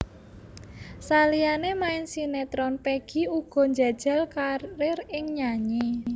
Saliyané main sinétron Peggy uga njajal karir ing nyanyi